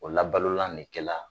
O labalolan de kɛla